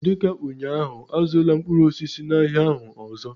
dị ka ụnyaahụ, azụla mkpụrụ osisi n'ahịa ahụ ọzọ!